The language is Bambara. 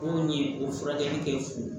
Anw ni o furakɛli k'e fu